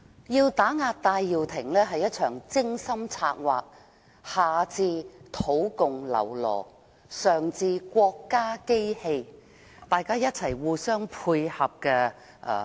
要打壓戴耀廷是一場精心策劃的文革式運動，下至土共僂儸，上至國家機器，大家互相配合。